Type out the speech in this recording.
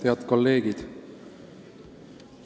Head kolleegid!